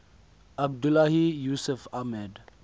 abdullahi yusuf ahmed